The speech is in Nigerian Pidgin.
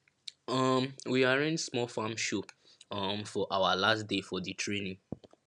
um we arrange small farm show um for awa last day for di training